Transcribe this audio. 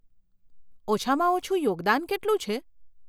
ઓછામાં ઓછું યોગદાન કેટલું છે?